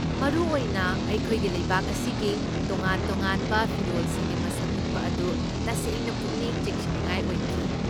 ꯃꯔꯨꯑꯣꯏꯅ, ꯑꯩꯈꯣꯏꯒꯤ ꯂꯩꯕꯥꯛ ꯑꯁꯤꯒꯤ ꯇꯣꯉꯥꯟ ꯇꯣꯉꯥꯟꯕ ꯐꯤꯔꯣꯜꯁꯤꯡꯒꯤ ꯃꯁꯛ ꯎꯠꯄ ꯑꯗꯨ ꯇꯁꯦꯡꯅ ꯄꯨꯛꯅꯤꯡ ꯆꯤꯡꯁꯤꯟꯅꯤꯡꯉꯥꯏ ꯑꯣꯏꯈꯤ꯫